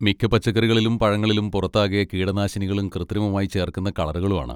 മിക്ക പച്ചക്കറികളിലും പഴങ്ങളിലും പുറത്താകെ കീടനാശിനികളും കൃത്രിമമായി ചേർക്കുന്ന കളറുകളും ആണ്.